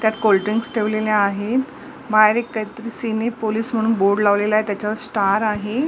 त्यात कोल्ड्रिंक्स ठेवलेल्या आहेत बाहेर एक काहीतरी पोलीस म्हणून बोर्ड लावलेला आहे त्याच्यावर स्टार आहे.